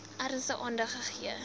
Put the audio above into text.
ernstig aandag gegee